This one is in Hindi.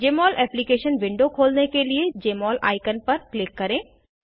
जमोल एप्लीकेशन विंडो खोलने के लिए जमोल आइकन पर क्लिक करें